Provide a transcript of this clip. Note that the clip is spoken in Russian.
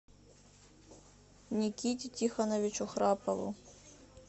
никите тихоновичу храпову